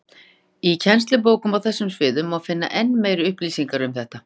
Í kennslubókum á þessum sviðum má finna enn meiri upplýsingar um þetta.